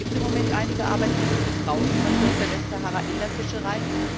Es gibt im Moment einige Arbeitsplätze für Frauen, zum Beispiel aus der Westsahara, in der Fischerei.